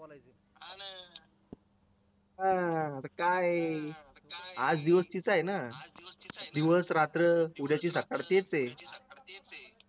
काय ए आज दिवस तिचा ए ना दिवस रात्र